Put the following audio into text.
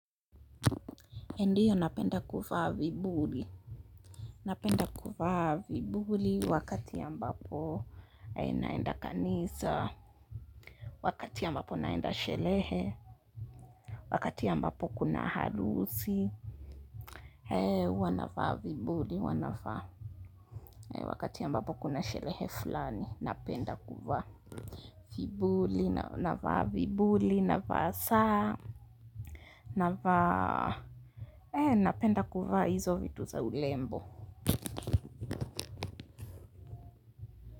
Ndiyo napenda kuvaa vibuli. Napenda kuvaa vibuli wakati ambapo naenda kanisa, wakati ambapo naenda sherehe wakati ambapo kuna harusi, ee huwa navaa vibuli, huwa navaa wakati ambapo kuna sherehe fulani, napenda kuvaa vibuli. Navaa vibuli, navaa saa, navaa, napenda kuvaa hizo vitu za urembo.